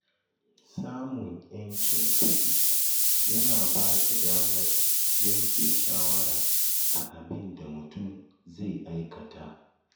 Samun ‘yancin kuɗi yana ba da damar yanke shawara a abin da mutum zai aikata